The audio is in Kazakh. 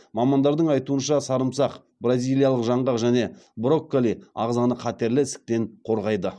мамандардың айтуынша сарымсақ бразилиялық жаңғақ және брокколи ағзаны қатерлі ісіктен қорғайды